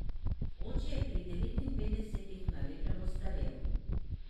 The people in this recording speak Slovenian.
Oče je pri devetinpetdesetih na lepem ostarel.